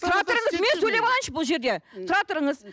тұра тұрыңыз мен сөйлеп алайыншы бұл жерде тұра тұрыңыз